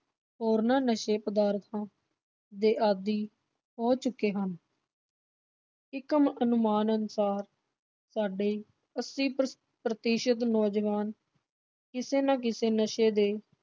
ਹੋਰਨਾਂ ਨਸ਼ੇ ਪਦਾਰਥਾਂ ਦੇ ਆਦੀ ਹੋ ਚੁੱਕੇ ਹਨ। ਇਕ ਅਨੁਮਾਨ ਅਨੁਸਾਰ ਸਾਡੇ ਅੱਸੀ ਪ੍ਰਤੀਸ਼ਤ ਨੌਜਵਾਨ ਕਿਸੇ ਨਾ ਕਿਸੇ ਨਸ਼ੇ ਦੇ